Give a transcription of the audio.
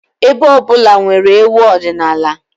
Ebo ọ bụla nwere egwú ọdịnala ha